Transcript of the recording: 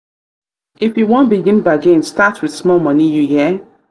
if you wan begin bargain start wit small moni you hear?